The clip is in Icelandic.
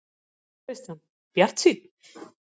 Kristján: Bjartsýnn?